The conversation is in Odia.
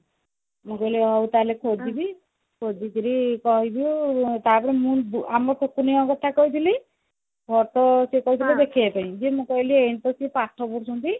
ମୁଁ କହିଲି ହଉ ତାହେଲେ ଖୋଜୁଛି ଖୋଜିକିରି କହିବି ଆଉ ତାପରେ ମୁଁ ଆମ ଟୁକୁନି ଙ୍କ କଥା କହିଥିଲି ତାପରେ ସେ କହିଥିଲେ ଦେଖିବା ପାଇଁ ଯେ ମୁଁ କହିଲି ଏଇଖିନା ସେ ପାଠ ପଢୁଛନ୍ତି